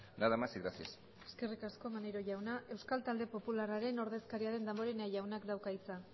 nada más y gracias eskerrik asko maneiro jauna euskal talde popularraren ordezkaria den damborenea jaunak dauka hitza